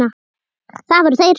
Það voru þeir